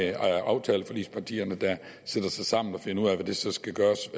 det aftaleforligspartierne der sætter sig sammen og finder ud af hvad der så skal gøres